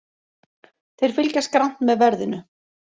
Þeir fylgjast grannt með verðinu